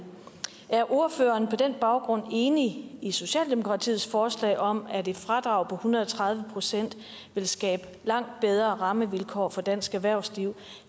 er ordføreren på den baggrund enig i socialdemokratiets forslag om at et fradrag på en hundrede og tredive procent vil skabe langt bedre rammevilkår for dansk erhvervsliv